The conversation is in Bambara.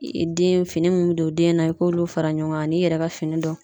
Den fini min bɛ don den na i k'olu fara ɲɔgɔn kan an'i yɛrɛ ka fini dɔw.